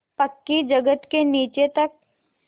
पक्की जगत के नीचे तक